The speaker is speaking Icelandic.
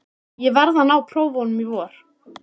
Ég verð að ná prófunum í vor.